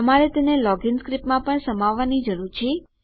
તમારે તેને લોગીન સ્ક્રીપ્ટમાં પણ સમાવવાની જરૂર છે